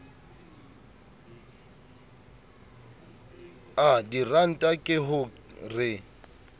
a diranta ke ho re